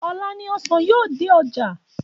Ọ̀la ni ọsàn yóò dé ọjà